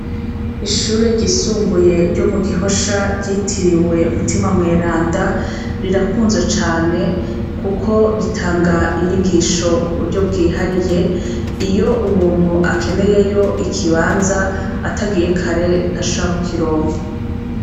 Ishure ryisumbuyeb ryo mu Gishosha ryitiriwe Mutima Mweranda rirakunzwe cane kuko ritanga inyigisho ku buryo bwihariye iyo umuntu akeneyeyo ikibanza atagiye kare ntashobora kukironka.